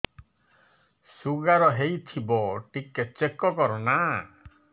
sugar ହେଇଥିବ ଟିକେ check କର ନା